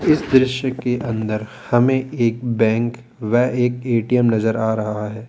इस दृश्य के अंदर हमें एक बैंक व एक ए_टी_एम नजर आ रहा है।